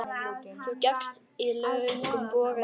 Þú gekkst í löngum boga yfir ána.